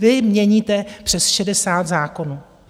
Vy měníte přes 60 zákonů.